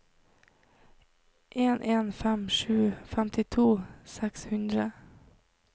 en en fem sju femtito seks hundre